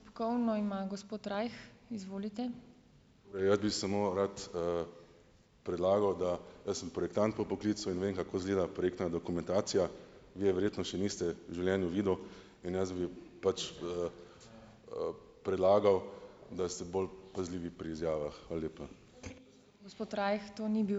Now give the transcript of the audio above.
Torej, jaz bi samo rad, predlagal, da ... Jaz sem projektant po poklicu in vem, kako izgleda projektna dokumentacija. Vi je verjetno še niste v življenju videl in jaz bi pač, predlagal, da ste bolj pazljivi pri izjavah. Hvala lepa.